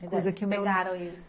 Pegaram isso.